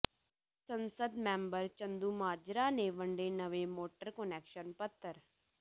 ਸੰਸਦ ਮੈਂਬਰ ਚੰਦੂਮਾਜਰਾ ਨੇ ਵੰਡੇ ਨਵੇਂ ਮੋਟਰ ਕੁਨੈਕਸ਼ਨ ਪੱਤਰ